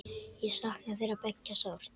Ég sakna þeirra beggja sárt.